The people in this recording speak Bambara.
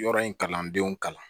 Yɔrɔ in kalandenw kalan